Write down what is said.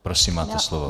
Prosím, máte slovo.